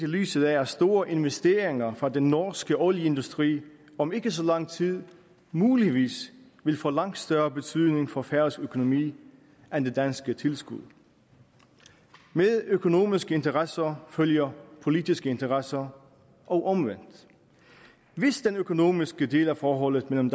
lyset af at store investeringer fra den norske olieindustri om ikke så lang tid muligvis vil få langt større betydning for færøsk økonomi end det danske tilskud med økonomiske interesser følger politiske interesser og omvendt hvis den økonomiske del af forholdet mellem